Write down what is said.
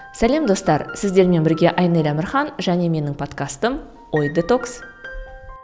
сәлем достар сіздермен бірге айнель әмірхан және менің подкастым ой детокс